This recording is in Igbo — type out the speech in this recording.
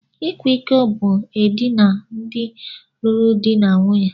Ịkwa iko bu edina ndị lụrụ di na nwunye.